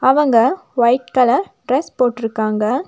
அவங்க white colour dress போட்ருக்காங்க.